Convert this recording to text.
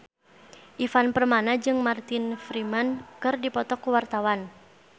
Ivan Permana jeung Martin Freeman keur dipoto ku wartawan